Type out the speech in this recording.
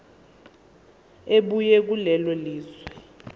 ebuya kulelo lizwe